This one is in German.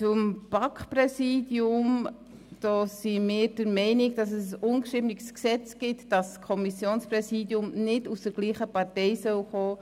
Beim BaK-Präsidium sind wir der Meinung, dass es ein ungeschriebenes Gesetz gibt, wonach das Kommissionspräsidium nicht der derselben Partei angehören soll